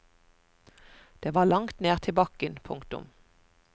Det var langt ned til bakken. punktum